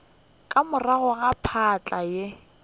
ka morago ga phahla ye